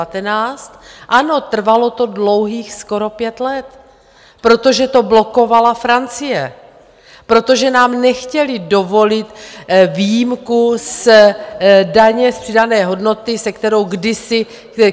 Ano, trvalo to dlouhých skoro pět let, protože to blokovala Francie, protože nám nechtěli dovolit výjimku z daně z přidané hodnoty, se kterou kdysi...